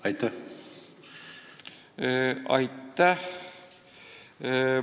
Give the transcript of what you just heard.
Aitäh!